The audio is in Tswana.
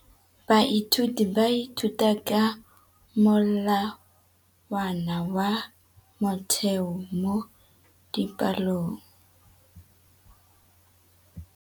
Baithuti ba ithuta ka molawana wa motheo mo dipalong.